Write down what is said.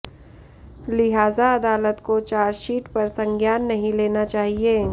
लिहाजा अदालत को चार्जशीट पर संज्ञान नहीं लेना चाहिए